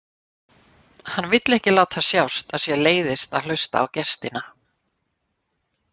Hann vill ekki láta sjást að sér leiðist að hlusta á gestina.